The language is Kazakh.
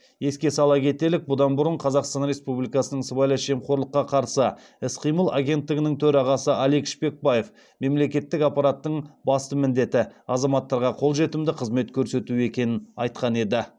еске сала кетелік бұдан бұрын қазақстан республикасының сыбайлас жемқорлыққа қарсы іс қимыл агенттігінің төрағасы алик шпекбаев мемлекеттік аппараттың басты міндеті азаматтарға қолжетімді қызмет көрсету екенін айтқан еді